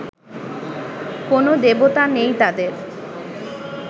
কোনো দেবতা নেই তাঁদের